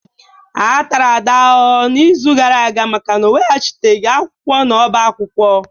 A tara Ada ahụhụ n'izu gara aga maka na ọ iweghachite akwụkwọ na ọbá akwụkwọ.